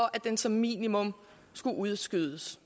at den som minimum skulle udskydes